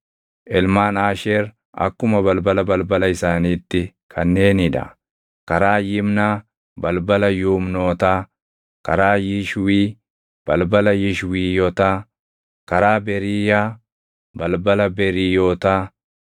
Ilmaan Aasheer akkuma balbala balbala isaaniitti kanneenii dha: karaa Yimnaa, balbala Yuumnootaa; karaa Yishwii, balbala Yishwiiyotaa; karaa Beriiyaa, balbala Beriiyootaa;